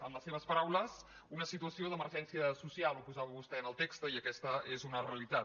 en les seves paraules una situació d’emergència social ho posa·va vostè en el text i aquesta és una realitat